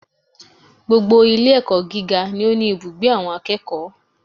Gbogbo Ilé ẹ̀kọ́ gíga ni ó ní ibùgbé àwọn akẹ́kọ̀ọ́